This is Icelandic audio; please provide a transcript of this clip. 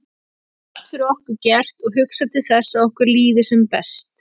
Það er allt fyrir okkur gert og hugsað til þess að okkur líði sem best.